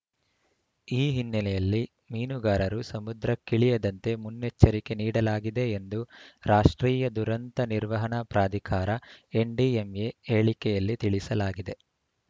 ಈ ಹಿನ್ನೆಲೆಯಲ್ಲಿ ಮೀನುಗಾರರು ಸಮುದ್ರಕ್ಕಿಳಿಯದಂತೆ ಮುನ್ನೆಚ್ಚರಿಕೆ ನೀಡಲಾಗಿದೆ ಎಂದು ರಾಷ್ಟ್ರೀಯ ದುರಂತ ನಿರ್ವಹಣಾ ಪ್ರಾಧಿಕಾರಎನ್‌ಡಿಎಂಎ ಹೇಳಿಕೆಯಲ್ಲಿ ತಿಳಿಸಲಾಗಿದೆ